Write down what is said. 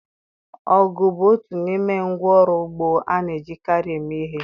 Ọgụ bụ otu n'ime ngwa ọrụ ugbo a na-ejikarị eme ihe.